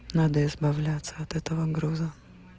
надо избавляться от этого груза